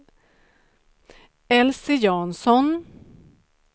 Elise Jansson